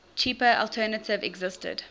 cheaper alternative existed